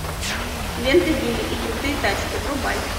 лента вилли и крутые тачки врубай